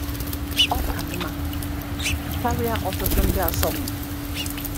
Ọ ka mma karịa ọtụtụ ndị asọmpi.